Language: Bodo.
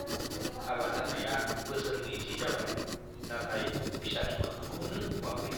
हाबा जानाया बोसोर नैजि जाबाय, नाथाय फिसानि मोखांखौनो नुवाखै।